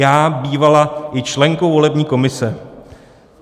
Já bývala i členkou volební komise.